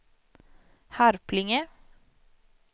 Harplinge